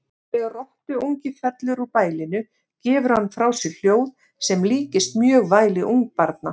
Þegar rottuungi fellur úr bælinu gefur hann frá sér hljóð sem líkist mjög væli ungbarna.